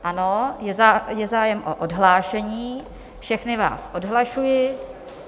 Ano, je zájem o odhlášení, všechny vás odhlašuji.